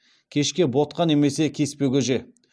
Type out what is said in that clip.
кешке ботқа немесе кеспе көже